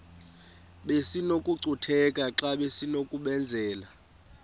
besinokucutheka xa besinokubenzela